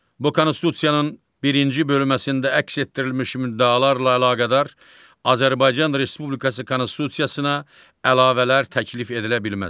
Bu konstitusiyanın birinci bölməsində əks etdirilmiş müddalarla əlaqədar Azərbaycan Respublikası konstitusiyasına əlavələr təklif edilə bilməz.